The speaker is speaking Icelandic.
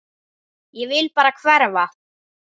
Ég vil bara hverfa.